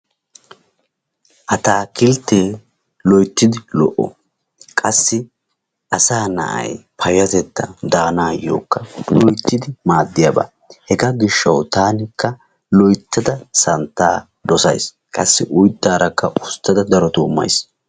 Ataakilttee loyttidi lol"o. Qassi asaa na'ayi payyatettan daanaayyokka loyttidi maaddiyaba. Hegaa gishshawu taanikka loyttada santtaa dosayis. Qassi Oyttaarakka usttada darotoo mayis.